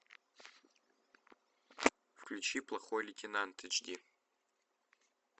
включи плохой лейтенант эйч ди